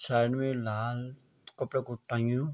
साइड में यु लाल कपड़ा कु टंगयूँ।